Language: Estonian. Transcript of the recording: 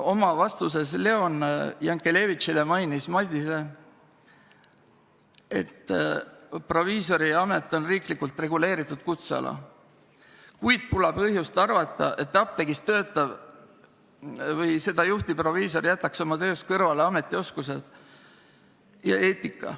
Oma vastuses Leon Jankelevitshile märkis Madise, et proviisoriamet on riiklikult reguleeritud kutseala, kuid pole põhjust arvata, et apteegis töötav või seda juhtiv proviisor jätaks oma töös kõrvale ametioskused ja -eetika.